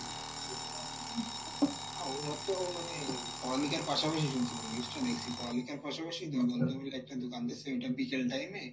হা ওরা তো ও মানে পড়ালিখার পাশাপাশি শুনছিলাম, news টা দেখসি পড়ালিখার পাশাপাশি দুই বন্ধু মিলে একটা দুকান দিসে ওইটা বিকেল time এ,